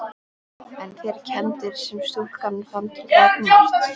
En þær kenndir sem stúlkan fann til gagnvart